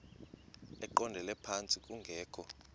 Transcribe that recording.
eqondele phantsi kungekho